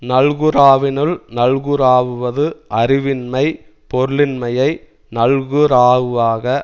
நல்குராவினுள் நல்குராவுவது அறிவின்மை பொருளின்மையை நல்குராவுவாக